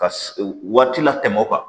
Ka waati latɛmɛ o kan